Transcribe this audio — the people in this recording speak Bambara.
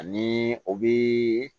Ani o bi